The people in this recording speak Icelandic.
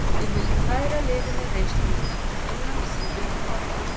Ég vil færa liðinu reynslu mína, innan sem utan vallar.